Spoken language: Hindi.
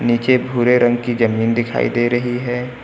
नीचे भूरे रंग की जमीन दिखाई दे रही है।